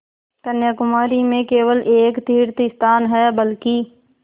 कन्याकुमारी में केवल एक तीर्थस्थान है बल्कि